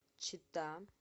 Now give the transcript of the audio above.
чита